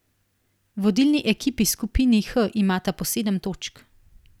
Vodilni ekipi skupini H imata po sedem točk.